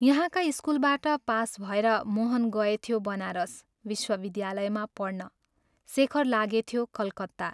यहाँका स्कूलबाट पास भएर मोहन गएथ्यो बनारस विश्वविद्यालयमा पढ्न शेखर लागेथ्यो कलकत्ता।